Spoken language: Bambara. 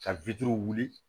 Ka wuli